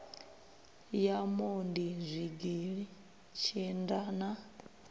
ya mondi zwigili tshinda na